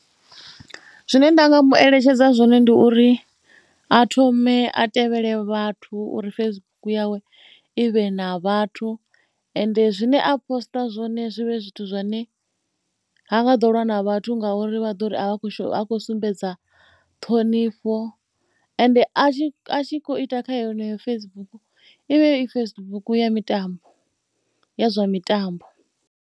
Zwine nda nga mu eletshedza zwone ndi uri a thome a tevhele vhathu uri Facebook yawe i vhe na vhathu ende zwine a poster zwone zwi vhe zwithu zwine ha nga ḓo lwa na vhathu. Ngauri vha ḓo ri a kho ha khou sumbedza ṱhonifho ende a tshi, a tshi khou ita kha heneyo Facebook i vhe i Facebook ya mitambo, ya zwa mitambo.